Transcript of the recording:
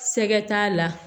Sɛgɛ t'a la